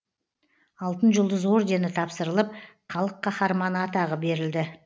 алтын жұлдыз ордені тапсырылып халық қаһарманы атағы берілді